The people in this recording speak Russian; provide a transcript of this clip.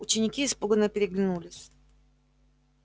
ученики испуганно переглянулись